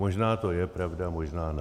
Možná to je pravda, možná ne.